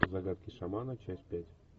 загадки шамана часть пять